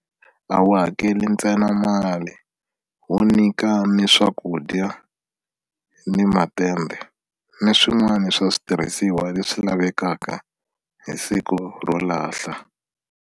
A wu hakeli ntsena mali wu nyika ni swakudya ni matende ni swin'wana swa switirhisiwa leswi lavekaka hi siku ro lahla.